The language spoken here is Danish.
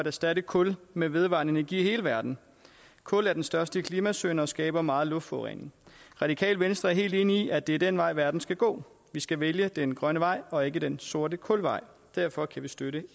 erstatte kul med vedvarende energi i hele verden kul er den største klimasynder og skaber meget luftforurening radikale venstre er helt enig i at det er den vej verden skal gå vi skal vælge den grønne vej og ikke den sorte kulvej derfor kan vi støtte